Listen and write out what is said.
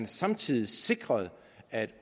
samtidig sikredes at